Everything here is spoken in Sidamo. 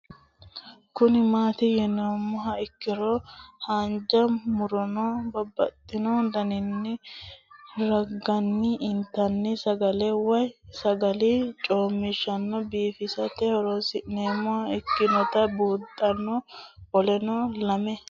Kuni mati yinumoha ikiro hanja muroni babaxino daninina ragini intani sagale woyi sagali comishatenna bifisate horonsine'morich ikinota bunxana qoleno lame